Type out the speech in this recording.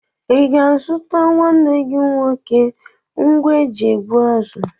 I ga-azụrụ nwanne gị nwoke ngwa eji egbu azụ?